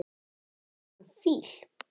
Heilan fíl.